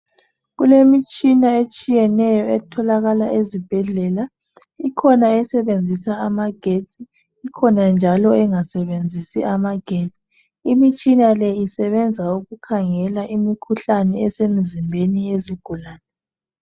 Kulemitshina etshiyeneyo etholakala ezibhedlela ikhona esebenzisa amagetsi ikhona njalo engasebenzisi amagetsi imitshina le isebenza ukukhangela imikhuhlane esemzimbeni yezigulane.